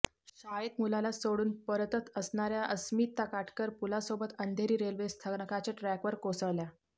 शाळेत मुलाला सोडून परतत असणाऱ्या अस्मिता काटकर पूलासोबत अंधेरी रेल्वे स्थानकाच्या ट्रॅकवर कोसळल्या